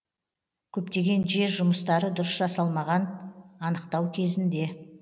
көптеген жер жұмыстары дұрыс жасалмаған анықтау кезінде